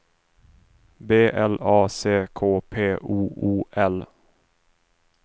B L A C K P O O L